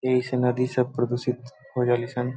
एहि से नदी सब प्रदुसित होजालि सन।